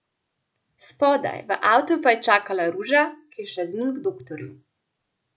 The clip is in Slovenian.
Spodaj, v avtu pa je čakala Ruža, ki je šla z njim k doktorju.